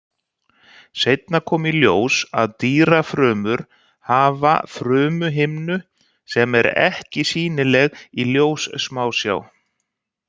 Seinna kom í ljós að dýrafrumur hafa frumuhimnu sem er ekki sýnileg í ljóssmásjá.